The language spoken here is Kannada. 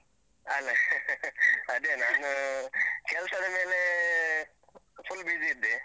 ಅಲ್ಲ , ಅದೇ ನಾನು ಕೆಲ್ಸದ ಮೇಲೆ full busy ಇದ್ದೆ.